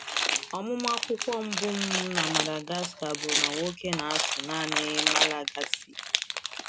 Ọmụmụ akwụkwọ mbụ m na Madagascar bụ na nwoke na-asụ naanị Malagasy.